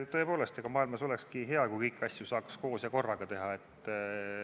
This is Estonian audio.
Tõepoolest, olekski hea, kui maailmas saaks kõiki asju koos ja korraga teha.